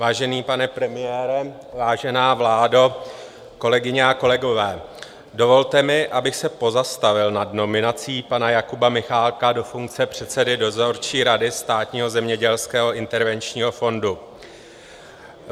Vážený pane premiére, vážená vládo, kolegyně a kolegové, dovolte mi, abych se pozastavil nad nominací pana Jakuba Michálka do funkce předsedy dozorčí rady Státního zemědělského intervenčního fondu.